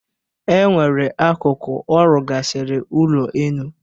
E nwere akụkụ ọ rụgasịrị ụlọenu.